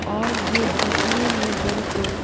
और ये दिखने में बिल्कुल--